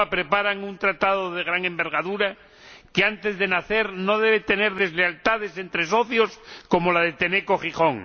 y Europa preparan un tratado de gran envergadura que antes de nacer no debe tener deslealtades entre socios, como la de Tenneco Gijón.